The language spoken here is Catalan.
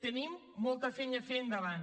tenim molta feina a fer endavant